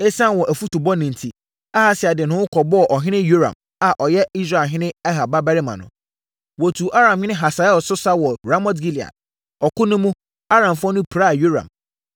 Esiane wɔn afotubɔne enti, Ahasia de ne ho kɔbɔɔ ɔhene Yoram a ɔyɛ Israelhene Ahab babarima ho. Wɔtuu Aramhene Hasael so sa wɔ Ramot-Gilead. Ɔko no mu, Aramfoɔ no piraa Yoram.